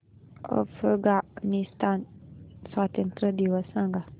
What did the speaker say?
अफगाणिस्तान स्वातंत्र्य दिवस सांगा